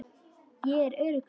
Ég er örugg núna.